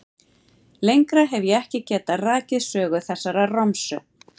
Lengra hef ég ekki getað rakið sögu þessarar romsu.